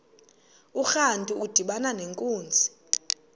urantu udibana nenkunzi